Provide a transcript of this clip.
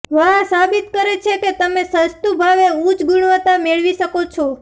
વાહ સાબિત કરે છે કે તમે સસ્તું ભાવે ઉચ્ચ ગુણવત્તા મેળવી શકો છો